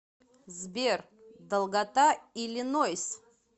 сбер долгота иллинойс